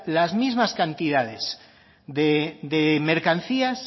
las mismas cantidades de mercancías